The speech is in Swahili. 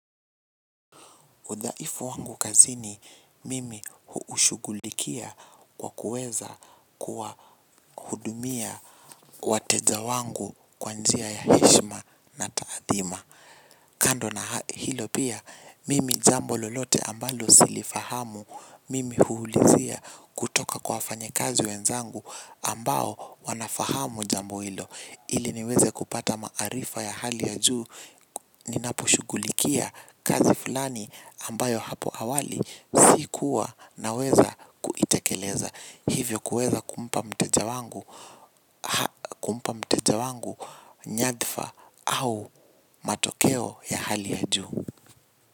Udhaifu wangu kazini mimi huushughulikia kwa kuweza kuwahudumia wateja wangu kwa njia ya heshima na taadhima. Kando na hilo pia mimi jambo lolote ambalo silifahamu mimi huulizia kutoka kwa wafanyikazi wenzangu ambao wanafahamu jambo hilo. Ili niweze kupata maarifa ya hali ya juu ninaposhughulikia kazi fulani ambayo hapo awali sikuwa naweza kuitekeleza. Hivyo kuweza kumpa mteja wangu kumpa mteja wangu nyadhifa au matokeo ya hali ya juu.